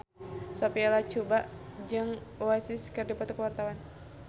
Sophia Latjuba jeung Oasis keur dipoto ku wartawan